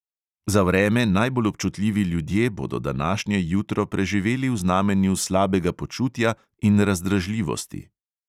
Za vreme najbolj občutljivi ljudje bodo današnje jutro preživeli v znamenju slabega počutja in razdražljivosti.